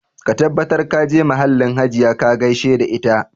Ka tabbatar ka je mahallin Hajiya ka gaishe da ita